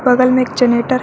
बगल में एक जनरेटर है।